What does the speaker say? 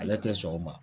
Ale tɛ sɔn o ma